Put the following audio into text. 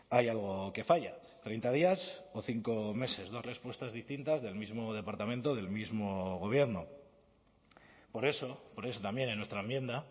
hay algo que falla treinta días o cinco meses dos respuestas distintas del mismo departamento del mismo gobierno por eso por eso también en nuestra enmienda